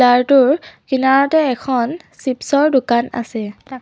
কাৰ টোৰ কিনাৰতে এখন চিপছৰ দোকান আছে।